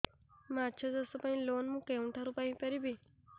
ମାଛ ଚାଷ ପାଇଁ ଲୋନ୍ ମୁଁ କେଉଁଠାରୁ ପାଇପାରିବି